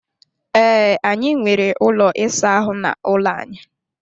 Ee, anyị nwere ụlọ ịsa ahụ n'ụlọ anyị.